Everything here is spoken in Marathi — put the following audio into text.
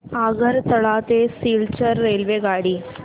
आगरतळा ते सिलचर रेल्वेगाडी